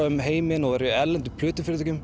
um heiminn og eru hjá erlendum